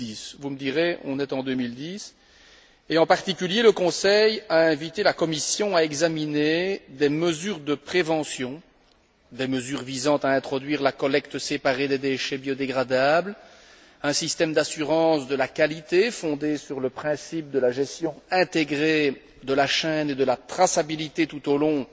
2010. Vous me direz, on est en 2010, et en particulier le Conseil a invité la Commission à examiner des mesures de prévention, des mesures visant à introduire la collecte séparée des déchets biodégradables, un système d'assurance de la qualité fondé sur le principe de la gestion intégrée de la chaîne et de la traçabilité tout au long